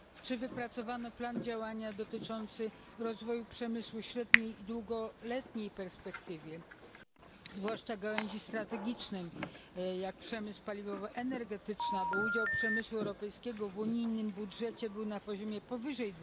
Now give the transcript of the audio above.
Czy wypracowano plan działania dotyczący rozwoju przemysłu w średniej i długoletniej perspektywie, zwłaszcza gałęzi strategicznych jak przemysł paliwowo energetyczny, aby udział przemysłu europejskiego w unijnym budżecie był na poziomie powyżej